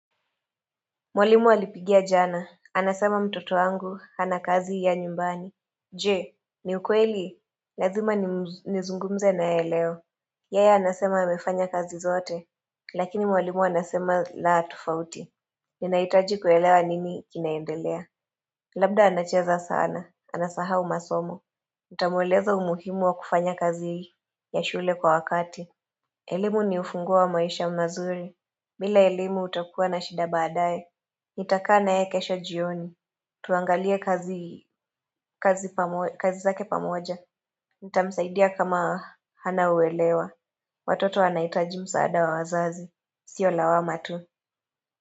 Mwalimu walipigia jana. Anasema mtoto wangu. Hana kazi ya nyumbani. Jee, ni ukweli? Lazima nizungumze nayeye eleo. Yeye anasema amefanya kazi zote. Lakini mwalimu anasema la tofauti. Ninaaitaji kuelewa nini kinaendelea. Labda anacheza sana. Anasahau masomo. Nitamueleza umuhimu wa kufanya kazi hii. Ya shule kwa wakati. Elimu ni ufunguo wa maisha mazuri. Bila elimu utakuwa na shida baadaye. Nitakkana yeye kesho jioni. Tuangalie kazi zake pamoja. Nitamsaidia kama hana uelewa. Watoto wanahitaji msaada wa wazazi. Sio lawamatu.